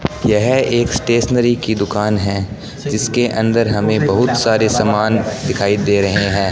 यह एक स्टेशनरी की दुकान है जिसके अंदर हमे बहुत सारे समान दिखाई दे रहे है।